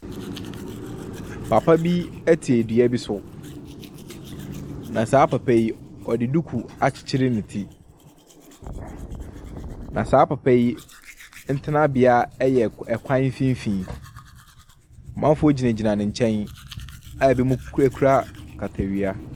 Papa bi ɛte ɛdua bi so. Na saa papa yi, ɔde duku akyekyere ne ti. Na saa papa yi ne ɛtenabea ɛyɛ kwan mfinifin. Manfoɔ gyinagyina ne nkyɛn a ɛbi mu kurakura katawia.